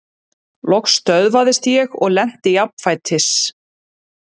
Loks stöðvaðist ég og lenti jafnfætis.